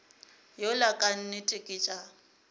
yola ka nnete ke tša